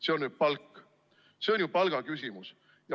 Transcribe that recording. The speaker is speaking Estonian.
See on palk, see on ju palgaküsimus.